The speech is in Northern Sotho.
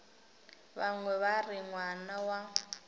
bangwe ba re ngwana wa